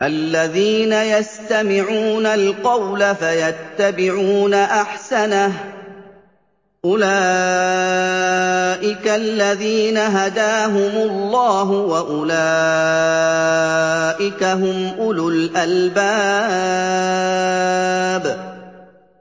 الَّذِينَ يَسْتَمِعُونَ الْقَوْلَ فَيَتَّبِعُونَ أَحْسَنَهُ ۚ أُولَٰئِكَ الَّذِينَ هَدَاهُمُ اللَّهُ ۖ وَأُولَٰئِكَ هُمْ أُولُو الْأَلْبَابِ